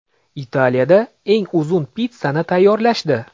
Italiyada eng uzun pitssani tayyorlashdi.